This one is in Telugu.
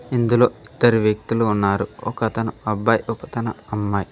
ఇందులో ఇద్దరు వ్యక్తులు ఉన్నారు ఒకతను అబ్బాయి ఒకతను అమ్మాయి.